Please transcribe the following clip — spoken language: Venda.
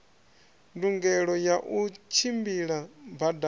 ndungelo ya u tshimbila badani